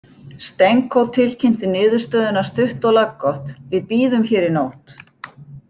Stenko tilkynnti niðurstöðuna stutt og laggott: „Við bíðum hér í nótt“